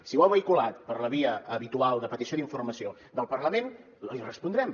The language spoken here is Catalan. si ho ha vehiculat per la via habitual de petició d’informació del parlament li respondrem